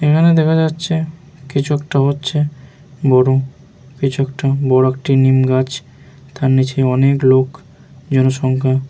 এখানে দেখা যাচ্ছে কিছু একটা হচ্ছে বড় কিছু একটা বড় একটা নিমগাছ তার নিচে অনেক লোক জনসংখ্যা --